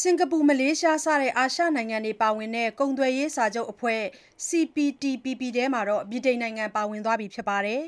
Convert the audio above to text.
စင်္ကာပူ၊ မလေးရှားစတဲ့ အာရှနိုင်ငံတွေပါဝင်တဲ့ ကုန်သွယ်ရေးစာချုပ်အဖွဲ့ CPTPP ထဲမှာ ဗြိတိန်နိုင်ငံပါဝင်သွားပါပြီ။